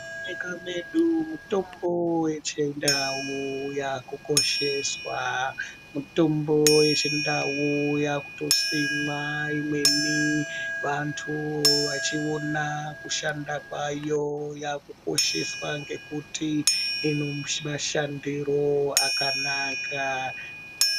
Munyika yedu mitombo yechindau yakukosheswa. Mitombo yechindau yakutosimwa, imweni vantu vachiona kushanda kwayo. Yakukosheswa ngekuti inemashandiro akanaka.